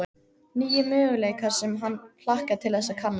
Nýir möguleikar sem hann hlakkaði til þess að kanna.